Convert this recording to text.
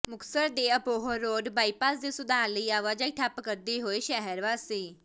ਮੁਕਤਸਰ ਦੇ Abohar road bypass ਦੇ ਸੁਧਾਰ ਲਈ ਆਵਾਜਾਈ ਠੱਪ ਕਰਦੇ ਹੋਏ ਸ਼ਹਿਰ ਵਾਸੀ